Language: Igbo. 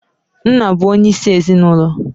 Nna bụ onyeisi ezinụlọ.